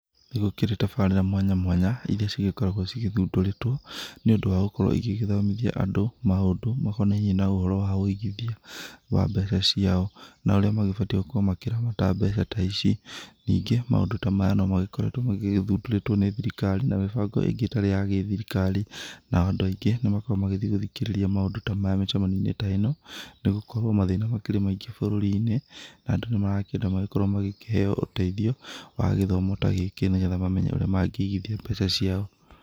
Nĩ gũkĩrĩ tabarĩra mwanya mwanya iria cigĩkoragwo cigĩthundũrĩtwo nĩ ũndũ wagũkorwo igĩgĩthomithia andũ maũndũ makonainie na ũhoro wa wũigithia wa mbeca ciao, na ũrĩa magĩbatiĩ gũkorwo makĩramata mbeca ta ici. Ningĩ maũndũ ta maya nomagĩkoretwo magĩgĩthundũrĩtwo nĩ thirikari na mĩbango ĩngĩ ĩtarĩ ya gĩthirikari. Nao andũ aingĩ nĩmakoragwo magĩthiĩ gũthikĩrĩria maũndũ ta maya mĩcemanio-inĩ ta ĩno, nĩ gũkorwo mathĩna nĩ makĩrĩ maingĩ bũrũri-inĩ, na andũ nĩmarakĩenda magĩkorwo magĩkĩheo ũteithio wa gĩthomo ta gĩkĩ nĩgetha mamenye ũrĩa mangĩigithia mbeca ciao.